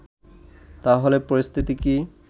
তা হলে পরিস্থিতি কি